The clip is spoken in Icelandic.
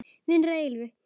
Vinir að eilífu.